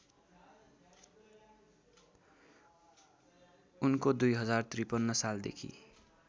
उनको २०५३ सालदेखि